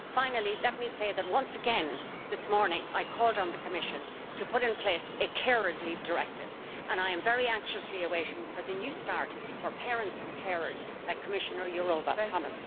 Finally, let me say that, once again, this morning, I called on the Commission to put in place a carers leave directive and I am very anxiously awaiting the new start for parents and carers that Commissioner Jourová promised this morning.